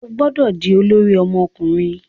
O gbọdọ di olori ọmọkunrin